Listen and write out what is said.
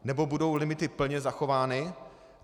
Nebo budou limity plně zachovány?